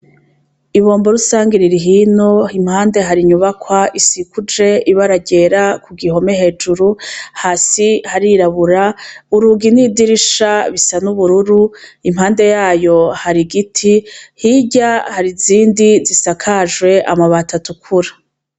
Ibombo rusange ririhino impande hari inyubakwa isikuje ibaragera ku gihome hejuru hasi harirabura urugi n'idirisha bisa n'ubururu impande yayo hari igiti hirya hari izindi zisakajwe amabatatukura.